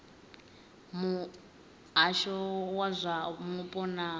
muhasho wa zwa mupo na